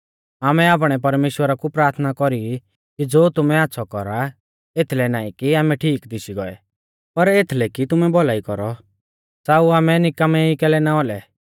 आमै आपणै परमेश्‍वरा कु प्राथना कौरी कि ज़ो तुमै आच़्छ़ौ कौरा एथलै नाईं कि आमै ठीक दिशी गोऐ पर एथलै कि तुमैं भौलाई कौरौ च़ाऊ आमै निकामै ई कैलै ना औलै